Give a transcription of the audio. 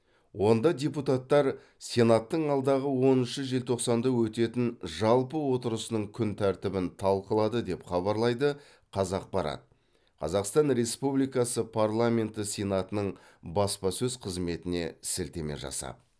онда депутаттар сенаттың алдағы оныншы желтоқсанда өтетін жалпы отырысының күн тәртібін талқылады деп хабарлайды қазақпарат қазақстан республикасы парламенті сенатының баспасөз қызметіне сілтеме жасап